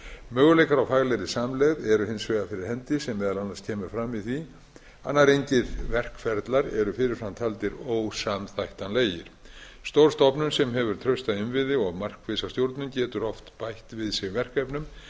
möguleikar á faglegri samlegð eru hins vegar fyrir hendi sem meðal annars kemur fram í því að nær engir verkferlar eru fyrir fram taldir ósamþættanlegir stór stofnun sem hefur trausta innviði og markvissa stjórnun getur oft bætt við sig verkefnum án